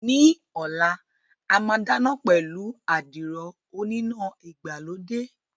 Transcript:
Ní ọ̀la, a máa dáná pẹ̀lú àdìrò oníná ìgbàlódé